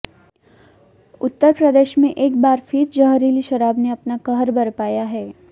उत्तर प्रदेश में एक बार फिर जहरीली शराब ने अपना कहर बरपाया है